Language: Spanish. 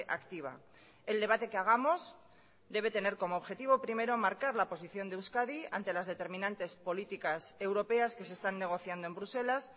activa el debate que hagamos debe tener como objetivo primero marcar la posición de euskadi ante las determinantes políticas europeas que se están negociando en bruselas